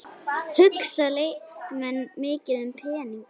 Hugsa leikmenn mikið um peninga?